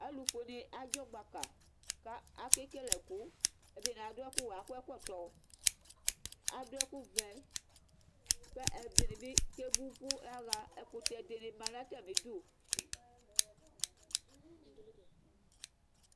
Alʋfueni akekele ɛkʋ ɛdini adʋ ɛkʋwɛ, akɔ ɛkɔtɔ, adʋ ɛkʋvɛ, kʋ ɛdini bi kebo ʋvʋ yaxa Ɛkʋtɛ dini manʋ atami idʋ